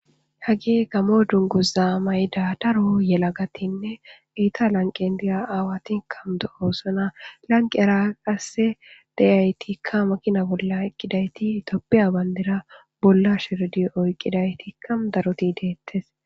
Haggey Gammo dungguzza mayida daro Gammo yellagatinne Etta laqqen diya aawati dossona,lanqqera qase diyaytti makina bollaEthiopian banddira bolla shiiri oykkidaytti detees.